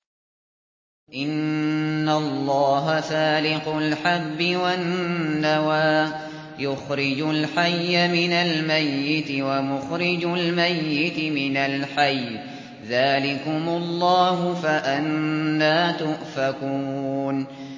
۞ إِنَّ اللَّهَ فَالِقُ الْحَبِّ وَالنَّوَىٰ ۖ يُخْرِجُ الْحَيَّ مِنَ الْمَيِّتِ وَمُخْرِجُ الْمَيِّتِ مِنَ الْحَيِّ ۚ ذَٰلِكُمُ اللَّهُ ۖ فَأَنَّىٰ تُؤْفَكُونَ